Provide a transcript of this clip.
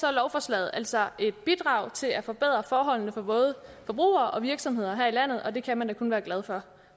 er lovforslaget altså et bidrag til at forbedre forholdene for både forbrugere og virksomheder her i landet og det kan man da kun være glad for